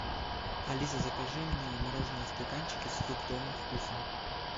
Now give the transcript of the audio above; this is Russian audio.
алиса закажи мне мороженое в стаканчике с фруктовым вкусом